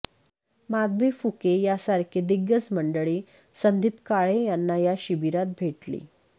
माधवी फुके यासारखी दिग्गज मंडळी संदीप काळे यांना या शिबिरात भेटली